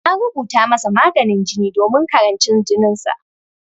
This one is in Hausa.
An rubuta masa maganin jini domin karancin jininsa.